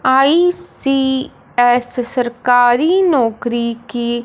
ICS सरकारी नौकरी की--